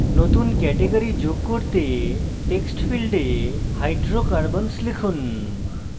নতুন category যোগ করতে text ফীল্ডে hydrocarbons লিখুন